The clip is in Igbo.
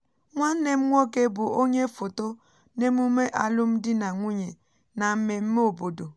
nwanne m nwoke bù onye foto n’emume alụmdi na nwunye na mmemme obodo